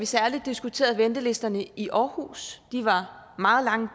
særlig diskuterede ventelisterne i aarhus de var meget lange